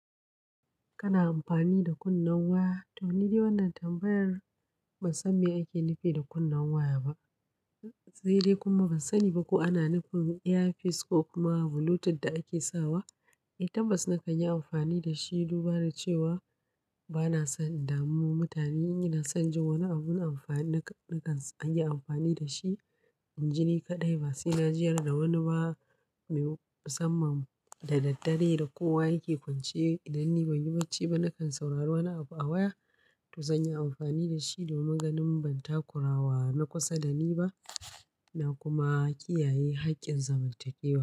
Kana amfani da kunnen waya? To ni dai wannan tambayar ban san me ake nufi da kunnen waya ba. Saide kuma ban sani ba ko ana nufin EFIS ko kuma Bluetooth da ake sawa. Eh tabbas na kan yi amfani da shi, duba da cewa ba na son in damu mutane. Ina son jin wani abun amfani na kan an yi amfani da shi inji ni kaɗai. Ba sai na jiyyar da wani ba mai musamman da daddare da kowa yake kwance idan ni ban yi barci ba. Nakan saurari wani abu a waya to zan yi amfani da shi domin ganin ban takurawa na kusa da ni ba na kuma kiyaye haƙƙin zamantakewa.